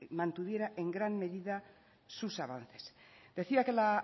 mantuviera en gran medida sus avances decía que la